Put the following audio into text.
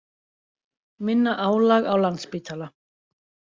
Minna álag á Landspítala